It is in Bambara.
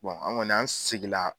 Bon an kɔni an sigila.